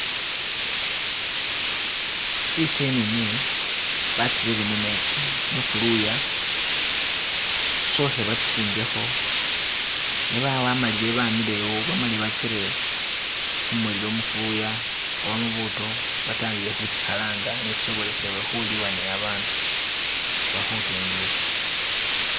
Tsi senene batsirele mumetsi mufuluya sokhe batsisingekho nebaba bamailile bamilewo bamale batsire khumulilo mufuluya oba mubuto batandikhe khitsi halanga ne tsisobosezebwe khulibwa ni babandu oba khutundibwa.